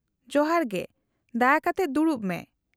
-ᱡᱚᱦᱟᱨ ᱜᱮ, ᱫᱟᱭᱟᱠᱟᱛᱮᱫ ᱫᱩᱲᱩᱵ ᱢᱮ ᱾